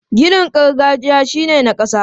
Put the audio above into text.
Ginin gargajiya shi ne na ƙasa.